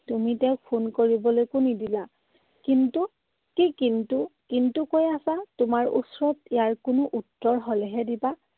তুমি তেওঁক phone কৰিবলৈকো নিদিলা। কিন্তু। কি কিন্তু কিন্তু কৈ আছা? তোমাৰ ওচৰত ইয়াত কোনো উত্তৰ হলেহে দিবা।